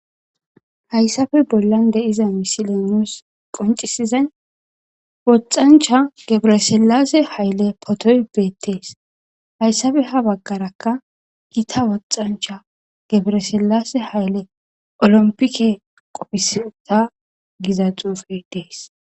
Haysappe bollan de'iza misiley nus qoncisizay wothancha gebere silase photo betes haysappe ha bagaraka gita wothancha gabera silase hayile Olympic qopiseta giza xupe des